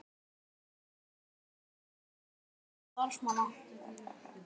Velferð fyrirtækis veltur á velferð starfsmannanna.